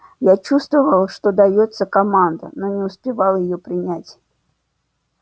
я чувствовал что даётся команда но не успевал её принять